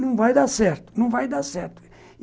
Não vai dar certo, não vai dar certo.